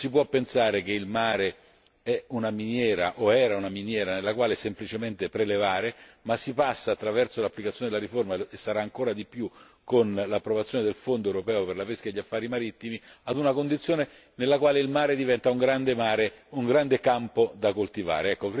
Non si può pensare che il mare sia una miniera o fosse una miniera nella quale semplicemente prelevare, ma si passa attraverso l'applicazione della riforma e lo sarà ancora di più con l'approvazione del Fondo europeo per la pesca e gli affari marittimi ad una condizione nella quale il mare diventa un grande mare, un grande campo da coltivare.